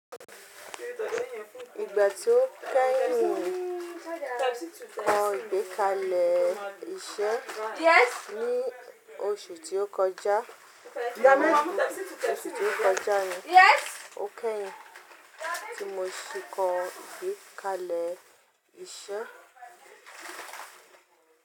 Ìgbà tí ó kẹ́yin kọ ìgbékalẹ̀ iṣẹ́ ní oṣù tí ó kọjá, o kẹ́yin tí mo ṣì kọ ìgbékalẹ̀ iṣẹ́.